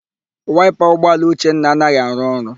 Waịpa ụgbọala Uchenna anaghị arụ ọrụ.